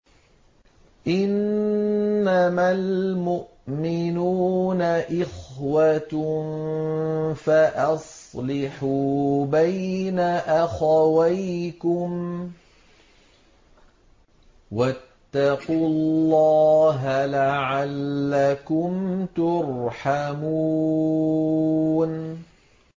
إِنَّمَا الْمُؤْمِنُونَ إِخْوَةٌ فَأَصْلِحُوا بَيْنَ أَخَوَيْكُمْ ۚ وَاتَّقُوا اللَّهَ لَعَلَّكُمْ تُرْحَمُونَ